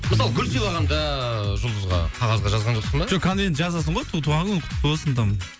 мысалы гүл сыйлағанда жұлдызға қағазға жазған жоқсың ба жоқ қазір енді жазасың ғой туған күнің құтты болсын там